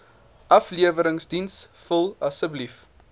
afleweringsdiens vul asseblief